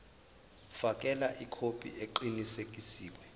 fakela ikhophi eqinisekisiwe